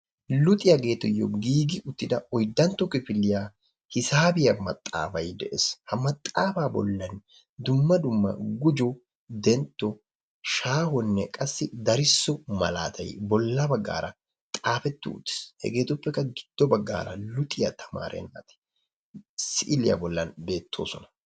Luxiyaageetuyyo giigi uttida oyddantto kifiliya hisaabiyaa maxaaafay de'es. ha maxaafa bollan dumma dumma gujjo, dentto, shaahonne qassikka darisso malaatay bolla baggara xaafeti uttiis. hegetuppikka giddo baggara luxiyaa tamaare naati siiliya bollan beettoosona.